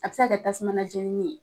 A be se ka kɛ tasuma jenini ye.